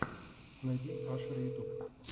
найти ашер ютюб